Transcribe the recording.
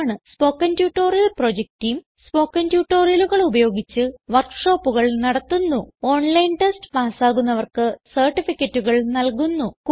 spoken tutorial project team spoken ട്യൂട്ടോറിയലുകൾ ഉപയോഗിച്ച് വർക്ക് ഷോപ്പുകൾ നടത്തുന്നുഓൺലൈൻ ടെസ്റ്റ് പാസ്സാകുന്നവർക്ക് സർട്ടിഫികറ്റുകൾ നല്കുന്നു